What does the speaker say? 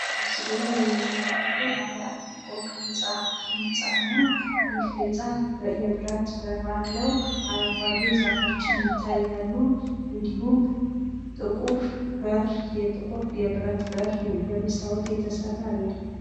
ምስሉ ላይ ምንመለከተው ባለ 1 ፎቅ ህንጻ ነው። ይህ ህንጻ የብረት በር አለው፣ አረንጓዴ ዛፎችም ይታያሉ እንዲሁም የጥቁር በር በመስታወት የተሰራ አለው።